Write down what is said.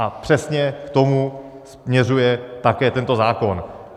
A přesně k tomu směřuje také tento zákon.